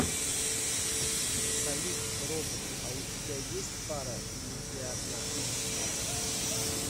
салют робот а у тебя есть пара или ты одна